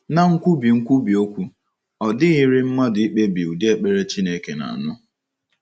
Ná nkwubi nkwubi okwu, ọ dịghịrị mmadụ ikpebi ụdị ekpere Chineke na - anụ.